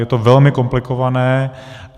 Je to velmi komplikované.